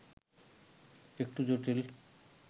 একটু জটিল